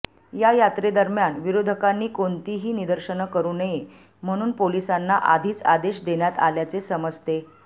या यात्रेदरम्यान विरोधकांनी कोणतीही निदर्शनं करू नये म्हणून पोलिसांना आधीच आदेश देण्यात आल्याचे समजते